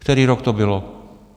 Který rok to bylo?